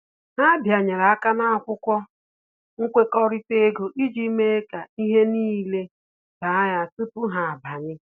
Ha bịanyere aka ná akwụkwọ nkwekọrịta ego iji mee ka ihe n'ile doo anya tupu ha abanye